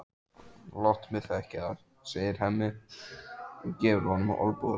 Láttu mig þekkja það, segir Hemmi og gefur honum olnbogaskot.